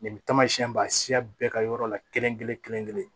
Nin tamasiyɛn b'a siya bɛɛ ka yɔrɔ la kelen-kelen-kelen-kelen